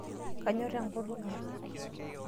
Kanyorr enkutuk ang.